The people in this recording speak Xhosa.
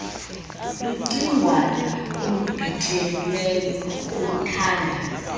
lucingwana olubhityileyo oluthanda